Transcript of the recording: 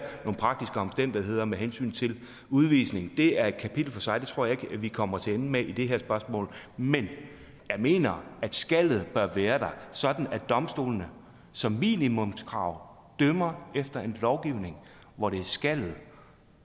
nogle praktiske omstændigheder med hensyn til udvisning det er et kapitel for sig og det tror jeg at vi kommer til ende med i det her spørgsmål men jeg mener at skalet bør være der sådan at domstolene som minimumskrav dømmer efter en lovgivning hvor det er skalet